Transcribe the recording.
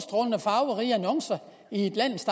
farverige annoncer i landets